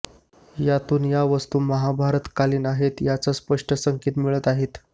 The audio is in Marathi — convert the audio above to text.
यातून या वस्तू महाभारतकालीन आहेत याचे स्पष्ट संकेत मिळत आहेत